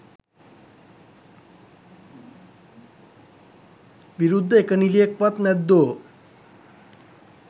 විරුද්ධ එක නිළියෙක්වත් නැද්දෝ.?